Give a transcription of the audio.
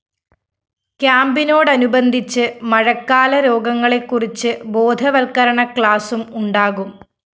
ക്യാമ്പിനോടനുബന്ധിച്ച് മഴക്കാല രോഗങ്ങളെക്കുറിച്ച് ബോധവല്‍ക്കരണ ക്ലാസും ഉണ്ടാകും